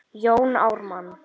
Jón Ármann